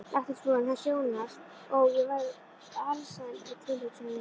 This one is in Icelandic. Læknisfrúin hans Jónasar, ó, ég verð alsæl við tilhugsunina